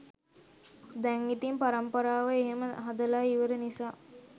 දැන් ඉතින් පරම්පරාව එහෙම හදලා ඉවර නිසා